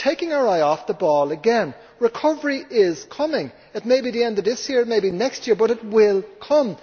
We are taking our eye off the ball again. Recovery is coming it may be at the end of this year or it may be next year, but it will come.